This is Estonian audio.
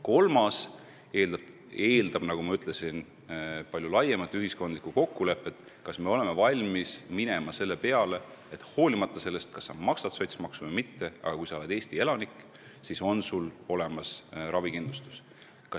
Kolmas lahendus eeldab, nagu ma ütlesin, palju laiemat ühiskondlikku kokkulepet, kas me oleme valmis minema selle peale, et olenemata sellest, kas sa maksad sotsmaksu või mitte, on sul olemas ravikindlustus, kui sa oled Eesti elanik.